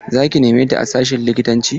Za ki neme ta a sashin likitanci?